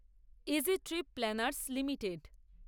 easy trip planners limited